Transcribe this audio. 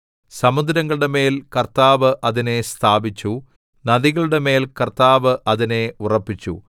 സമുദ്രങ്ങളുടെ മേൽ കർത്താവ് അതിനെ സ്ഥാപിച്ചു നദികളുടെമേൽ കർത്താവ് അതിനെ ഉറപ്പിച്ചു